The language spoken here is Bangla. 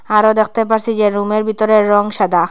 আরও দ্যাখতে পারসি যে রুম -এর ভিতরে রং সাদা।